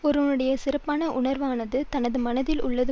ஒருவனுடைய சிறப்பான உணர்வானது தனது மனத்தில் உள்ளது